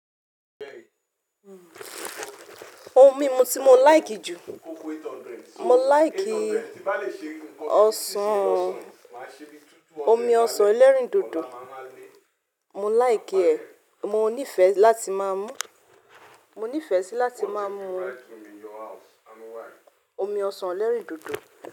Oun mimu tí mo like ju, mo like ọsàn, omi ọsàn ẹlẹ́rìndòdò mo like ẹ̀, mo ní ìfẹ́ láti máa mú, mo nífẹ̀ẹ́ sí láti máa mú omi ọsàn ẹlẹ́rìndòdò.